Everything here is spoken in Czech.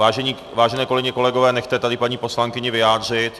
Vážené kolegyně, kolegové, nechte tady paní poslankyni vyjádřit.